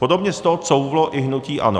Podobně z toho couvlo i hnutí ANO.